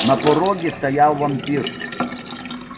на пороге стоял вампир